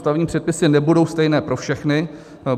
Stavební předpisy nebudou stejné pro všechny.